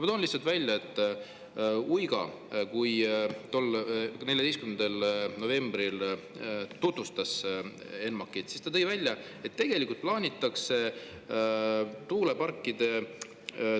Ma toon lihtsalt välja, et kui Uiga 14. novembril ENMAK-i tutvustas, siis ta ütles, et tegelikult plaanitakse tuuleparkide toetuseks …